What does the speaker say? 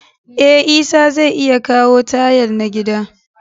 Eh, Isah zai iya kawo tayal, n'na gida.